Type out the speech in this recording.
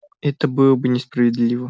это было бы несправедливо